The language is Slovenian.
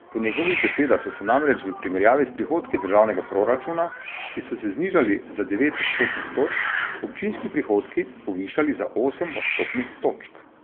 Po njegovih besedah so se namreč v primerjavi s prihodki državnega proračuna, ki so se znižali za devet odstotnih točk, občinski prihodki povišali za osem odstotnih točk.